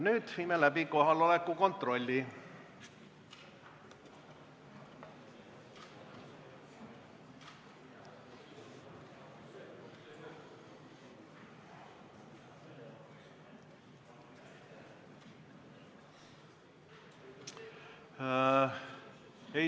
Nüüd viime läbi kohaloleku kontrolli.